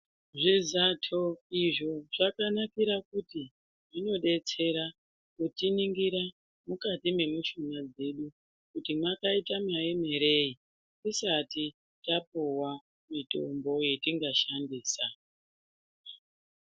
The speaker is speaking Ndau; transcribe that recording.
Zvizato izvo zvakanakira kuti zvinodetsera kutiningira mukati memushuna dzedu kuti makaita maemerei tisati tapuwa mitombo yatingashandisa.